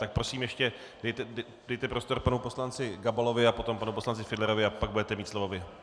Tak prosím, ještě dejte prostor panu poslanci Gabalovi a potom panu poslanci Fiedlerovi, a pak budete mít slovo vy.